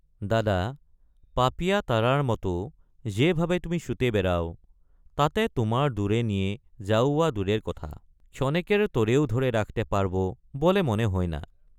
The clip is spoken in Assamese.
দাদা পাপীয়া তাৰাৰ মতো যে ভাবে তুমি ছুটে বেড়াও তাতে তোমায় দূৰে নিয়ে যাওয়া দুৰেৰ কথা ক্ষণেকেৰ তৰেও ধৰে ৰাখতে পাৰবো বলে মনে হয় না।